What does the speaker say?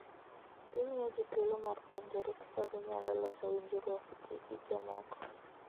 Gimiyo ji thuolo mar puonjore kaka ginyalo loso winjruokgi gi jomoko.